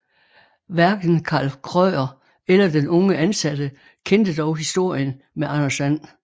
Hverken Karl Krøyer eller den unge ansatte kendte dog historien med Anders And